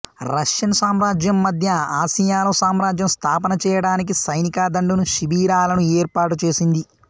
Russian సామ్రాజ్యం మద్య ఆసియాలో సామ్రాజ్య స్థాపన చేయడానికి సైనిక దండును శిబిరాలను ఏర్పాటుచేసింది